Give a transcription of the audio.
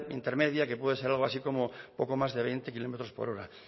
intermedia que puede ser poco más o menos de veinte kilómetros por hora